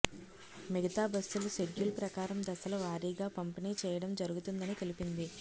మిగతా బస్సులు షెడ్యూల్ ప్రకారం దశలవారీగా పంపిణీ చేయడం జరుగుతుందని తెలిపింది